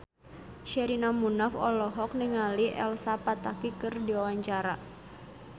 Sherina Munaf olohok ningali Elsa Pataky keur diwawancara